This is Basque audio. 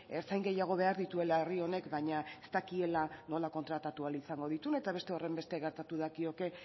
ertzain gehiago behar dituela herri honek baina ez dakiela nola kontratatu ahal izango dituen eta beste horrenbeste gerta dakioke